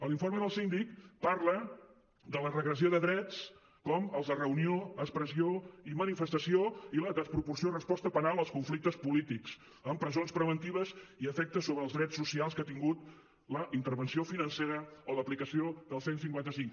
l’informe del síndic parla de la regressió de drets com els de reunió expressió i manifestació i la desproporció de la resposta penal als conflictes polítics amb presons preventives i efectes sobre els drets socials que ha tingut la intervenció financera o l’aplicació del cent i cinquanta cinc